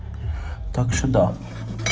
так сюда